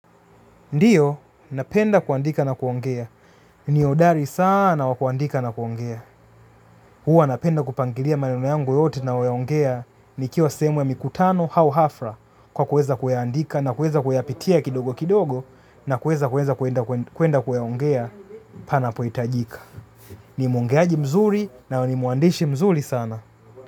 Ndiyo, napenda kuandika na kuongea. Ni hodari sana wa kuandika na kuongea. Huwa napenda kupangilia maneno yangu yote nayoyaongea nikiwa sehemu ya mikutano au hafla kwa kueza kuyaandika na kueza kuyapitia kidogo kidogo na kueza kueza kuenda kuyaongea panapohitajika. Ni mwongeaji mzuri na ni mwandishi mzuri sana.